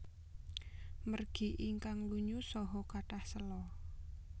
Margi ingkang lunyu saha kathah séla